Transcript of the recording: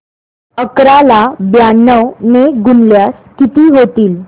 अकरा ला ब्याण्णव ने गुणल्यास किती होतील